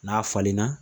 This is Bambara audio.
N'a falenna